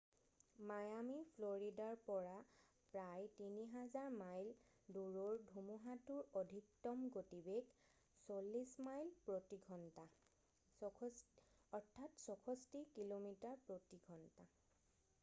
Miami ফ্লৰিদাৰ পৰা প্ৰায় ৩,০০০ মাইল দূৰৰ ধুমুহাতোৰ অধিকতম গতিবেগ ৪০ মাইল প্ৰতি ঘণ্টা ৬৪ কিলোমিটাৰ প্ৰতি ঘণ্টা।